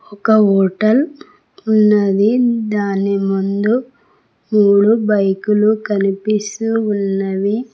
ఒక హోటల్ ఉన్నది దాని ముందు మూడు బైకులు కనిపిస్తూ ఉన్నవి.